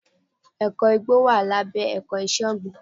Ẹ̀kọ́ igbó wà lábẹ́ ẹ̀kọ́ iṣẹ́ ọ̀gbìn.